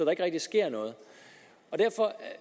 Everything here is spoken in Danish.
ikke rigtig sker noget derfor